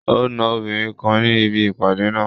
O na obìnrin kan ni ibi ipade naa